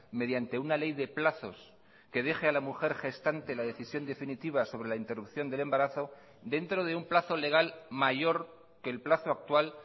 mediante una ley de plazos que deje a la mujer gestante la decisión definitiva sobre la interrupción del embarazo dentro de un plazo legal mayor que el plazo actual